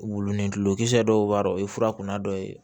Wulinikisɛ dɔw b'a dɔ o ye fura kunna dɔ ye